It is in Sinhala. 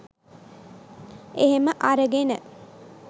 එහෙම අරගෙන